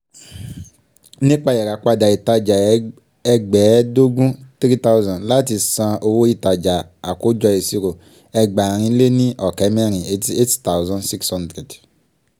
nípa ìràpadà ìtajà ẹgbẹ́ẹ́ẹdógún three thousand [ccs] láti san owó ìtajà àkójọ ìṣírò ẹgbàárin lé ní ọ̀kẹ́ mẹ̀rin eighty eight thousand six hundred.